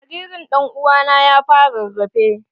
Jaririn dan'uwa na ya fara rarrafe.